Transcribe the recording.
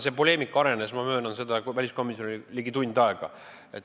See poleemika arenes, ma möönan, väliskomisjonis ligi tund aega.